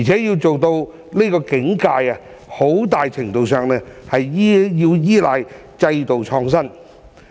要做到這境界，在很大程度上需要依賴制度創新。